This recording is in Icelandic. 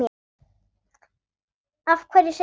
Af hverju segirðu það?